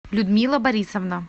людмила борисовна